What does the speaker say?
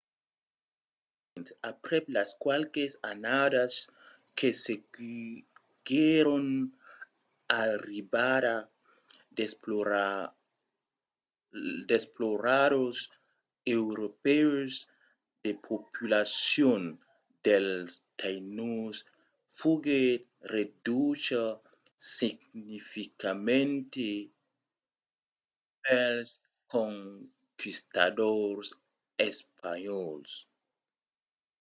brèvament aprèp las qualques annadas que seguiguèron l’arribada d’exploradors europèus la populacion dels tainos foguèt reducha significativament pels conquistadors espanhòls